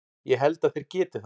Ég held að þeir geti það.